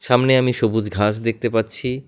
সামনে আমি সবুজ ঘাস দেখতে পাচ্ছি।